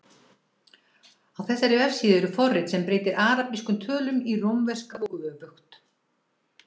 Á þessari vefsíðu er forrit sem breytir arabískum tölum í rómverskar og öfugt.